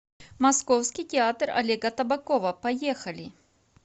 московский театр олега табакова поехали